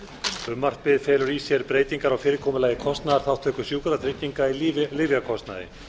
frumvarpið felur í sér breytingar á fyrirkomulagi kostnaðarþátttöku sjúkratrygginga í lyfjakostnaði